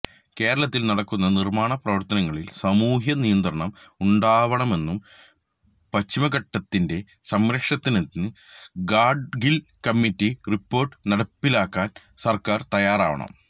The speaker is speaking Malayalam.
കേരളത്തിൽ നടക്കുന്ന നിർമ്മാണ പ്രവർത്തനങ്ങളിൽ സാമൂഹ്യ നിയന്ത്രണം ഉണ്ടാവണമെന്നും പശ്ചിമഘട്ടത്തിന്റെ സംരക്ഷണത്തിന് ഗാഡ്ഗിൽ കമ്മിറ്റി റിപ്പോർട്ട് നടപ്പിലാക്കാൻ സർക്കാർ തയ്യാറാവണം